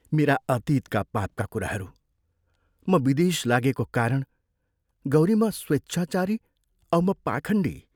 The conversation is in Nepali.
मेरा अतीतका पापका कुराहरू, म विदेश लागेको कारण गौरी म स्वेच्छाचारी औ म पाखण्डी।